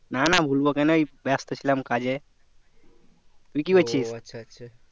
না না ভুলবো কেনো ওই ব্যাস্ত ছিলাম কাজে তুই কি করছিস